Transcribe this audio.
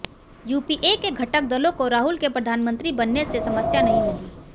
UPA के घटक दलों को राहुल के प्रधानमंत्री बनने से समस्या नहीं होगी